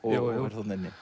jú jú